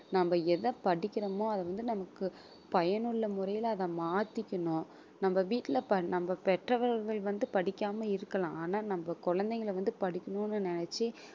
நம்ம எதை படிக்கிறோமோ அதை வந்து நமக்கு பயனுள்ள முறையிலே அதை மாத்திக்கணும் நம்ம வீட்டிலே ப~ நம்ம பெற்றவர்கள் வந்து படிக்காம இருக்கலாம் ஆனா நம்ம குழந்தைங்களை வந்து படிக்கணும்னு நினைச்சு